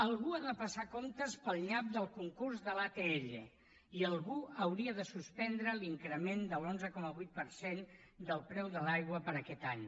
algú ha de passar comptes pel nyap del concurs de l’atll i algú hauria de suspendre l’increment de l’onze coma vuit per cent del preu de l’aigua per a aquest any